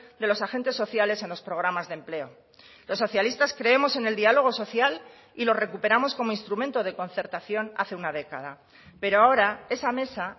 de los agentes sociales en los programas de empleo los socialistas creemos en el diálogo social y lo recuperamos como instrumento de concertación hace una década pero ahora esa mesa